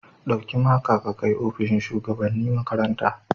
Dauki maka ka kai opishin shugabanni makaranta.